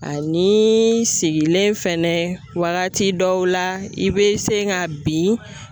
Ani seginen fɛnɛ waagati dɔw la i be se ka bin.